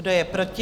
Kdo je proti?